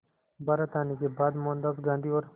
भारत आने के बाद मोहनदास गांधी और